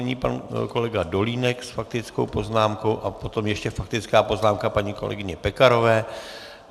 Nyní pan kolega Dolínek s faktickou poznámkou a potom ještě faktická poznámka paní kolegyně Pekarové.